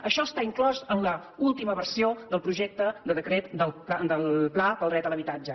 això està inclòs en l’última versió del projecte de decret del pla per al dret a l’habitatge